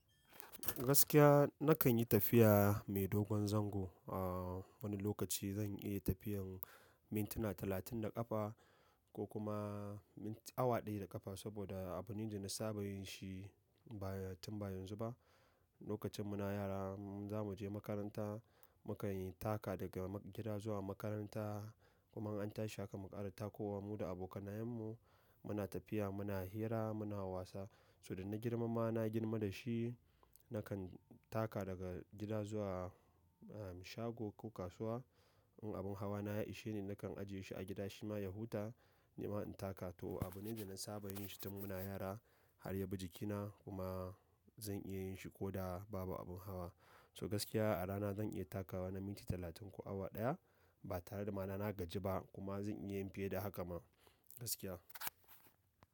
Gaskiya nakan yi tafiya mai dogon zango. A wani lokaci zan iya tafiyan mintuna talatin da ƙafa ko kuma awa ɗaya da ƙafa saboda abune da na saba yin shi ba tun ba yanzu ba. Lokacin muna yara, zamuje makaranta mukain taka daga gida zuwa makaranta kuma an tashi haka muƙara ta kowa mu da abokanayen mu muna tafiya, muna hira, muna wasa. Ti dana girma ma na girma da shi nakan taka daga gida zuwa shago ko kasuwa. In abin hawa na ya ishe ni nakan ajiye shi a gida shima ya huta, ni ma in taka. To abune da na saba yinshi tun muna yara har yabi jikina kuma zan iya yinshi koda babu abin hawa. So gaskiya a rana zan iya takawa na minti talatin ko awa ɗaya ba tare da mana na gaji ba kuma zan iya yin fiye da haka ma gaskiya.